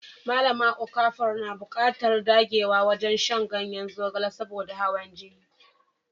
Malama Okafor na buƙatar dagewa wajen shan ganyen zogale saboda hawan jini.